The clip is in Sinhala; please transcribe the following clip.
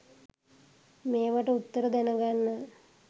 මේවට උත්තර දැනගන්න